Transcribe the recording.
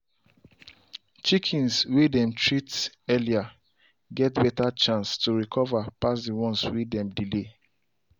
chickens way them treat early get better chance to recover pass the ones way dem delay.